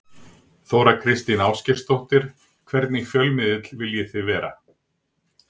Þóra Kristín Ásgeirsdóttir: Hvernig fjölmiðill viljið þið vera?